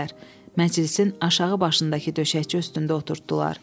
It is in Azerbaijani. Məclisin aşağı başındakı döşəkçi üstündə oturtddular.